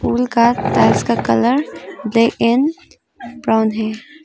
उनका टार्च का colour red and brown है।